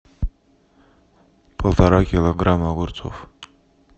полтора килограмма огурцов